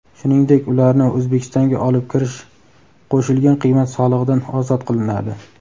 shuningdek ularni O‘zbekistonga olib kirish qo‘shilgan qiymat solig‘idan ozod qilinadi.